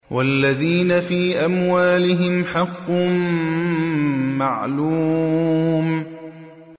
وَالَّذِينَ فِي أَمْوَالِهِمْ حَقٌّ مَّعْلُومٌ